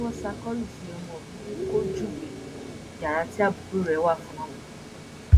àwọn tí wọn ṣàkólú sí ọmọ mi ni kò júwe yàrá tí àbúrò rẹ wà fáwọn